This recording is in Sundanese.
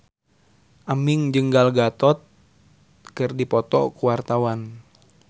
Aming jeung Gal Gadot keur dipoto ku wartawan